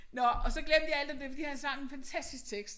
Nåh og så glemte jeg alt om det fordi han sang en fantastisk tekst